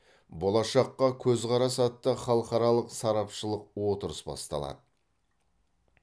болашаққа көзқарас атты халықаралық сарапшылық отырыс басталады